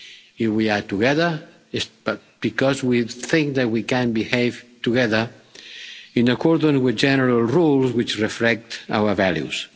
Here we are together, because we think that we can behave together in accordance with general rules which reflect our values.